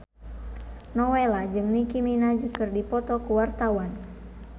Nowela jeung Nicky Minaj keur dipoto ku wartawan